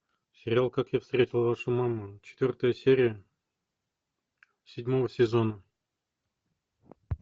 сериал как я встретил вашу маму четвертая серия седьмого сезона